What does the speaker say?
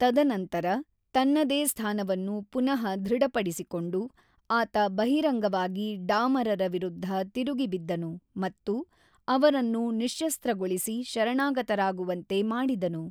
ತದನಂತರ, ತನ್ನದೇ ಸ್ಥಾನವನ್ನು ಪುನಃ ದೃಢಪಡಿಸಿಕೊಂಡು, ಆತ ಬಹಿರಂಗವಾಗಿ ಡಾಮರರ ವಿರುದ್ಧ ತಿರುಗಿಬಿದ್ದನು ಮತ್ತು ಅವರನ್ನು ನಿಶ್ಶಸ್ತ್ರಗೊಳಿಸಿ ಶರಣಾಗತರಾಗುವಂತೆ ಮಾಡಿದನು.